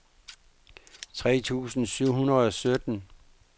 tre tusind syv hundrede og sytten